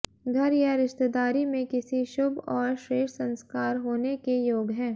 घर या रिश्तेदारी में किसी शुभ और श्रेष्ठ संस्कार होने के योग हैं